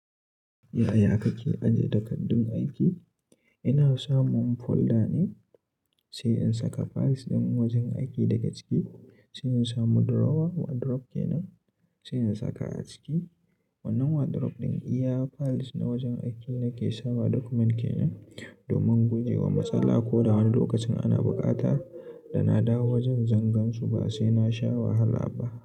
Yaya kake ajiye takardun aiki? Ina samun folder ne sai in saka files ɗin wajen aiki daga ciki sai in samu drawer wardrobe kenan sai in saka aciki. Wannan wardrobe ɗin iya files na wajen aiki nake sawa document kenan domin guje wa matsala ko da wani lokacin ana buƙata da na dawo wajen zangansu ba sai na sha wahala ba.